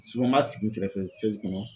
n m'a sigi n kɛrɛfɛ kɔnɔ.